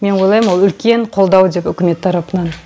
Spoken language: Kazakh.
мен ойлаймын ол үлкен қолдау деп үкімет тарапынан